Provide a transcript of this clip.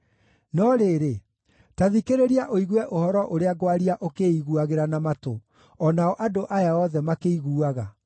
No rĩrĩ, ta thikĩrĩria ũigue ũhoro ũrĩa ngwaria ũkĩĩiguagĩra na matũ, o nao andũ aya othe makĩiguaga: